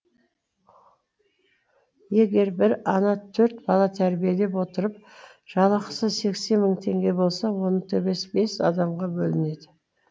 егер бір ана төрт бала тәрбиелеп отырып жалақысы сексен мың теңге болса оның төбесі бес адамға бөлінеді